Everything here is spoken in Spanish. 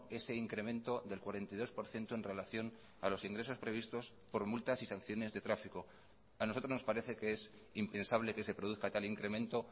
ese incremento del cuarenta y dos por ciento en relación a los ingresos previstos por multas y sanciones de tráfico a nosotros nos parece que es impensable que se produzca tal incremento